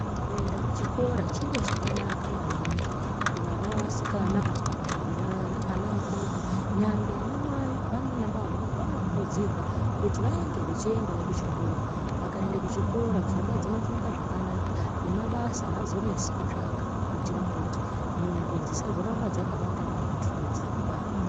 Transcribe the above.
Kuenda kuchikora chiro chakanaka maningi kuvana veasikana nyangwe kuna ana akomana. Nyangwe anamai naanababa vanokurudzirwa kuti vange vechiendawo kuchikora. Vakaende kuchikora pfungwa dzinofunge zvakanaka, nemabasa aazonesi kutsvaka kuitire kuti nungo dzisazoramba dzakabata vantu mudzimba.